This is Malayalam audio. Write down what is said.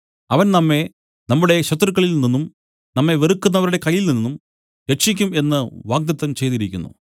അവൻ നമ്മെ നമ്മുടെ ശത്രുക്കളിൽ നിന്നും നമ്മെ വെറുക്കുന്നവരുടെ കയ്യിൽനിന്നും രക്ഷിക്കും എന്നു വാഗ്ദത്തം ചെയ്തിരിക്കുന്നു